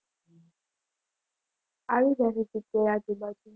આવી જશે સિત્તેર આજુબાજુ.